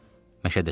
Məşədəsən.